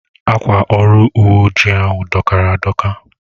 Akwa ọrụ uwe ojii ahu dọkara adọka